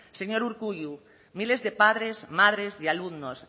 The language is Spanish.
señor urkullu miles de padres madres de alumnos